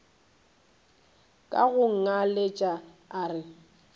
ka go ngaletša a re